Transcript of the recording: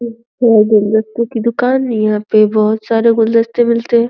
ये फूल गुलदस्ते की दुकान यहाँ पे बोहोत सारे गुलदस्ते मिलते है।